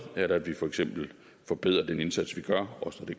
ved at vi for eksempel forbedrer den indsats vi gør også